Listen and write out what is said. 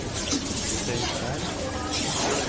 Steinkjer